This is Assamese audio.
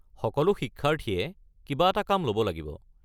সকলো শিক্ষাৰ্থীয়ে কিবা এটা কাম ল'ব লাগিব।